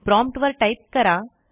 prompt वर type करा